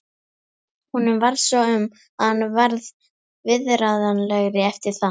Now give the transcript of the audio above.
Honum varð svo um að hann varð viðráðanlegri eftir það.